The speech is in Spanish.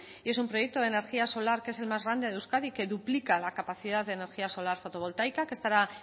y es un proyecto de energía solar que es el más grande de euskadi que duplica la capacidad de energía solar fotovoltaica que estará